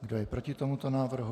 Kdo je proti tomuto návrhu?